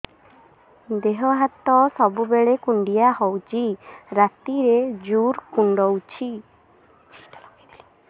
ଦେହ ହାତ ସବୁବେଳେ କୁଣ୍ଡିଆ ହଉଚି ରାତିରେ ଜୁର୍ କୁଣ୍ଡଉଚି